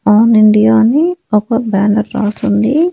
All India అని ఒక banner రాసుంది.